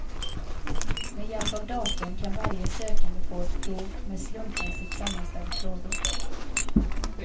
Med hjälp av datorn kan varje sökande få ett prov med slumpmässigt sammanställda frågor.